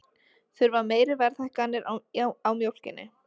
Þurfa meiri verðhækkanir á mjólkinni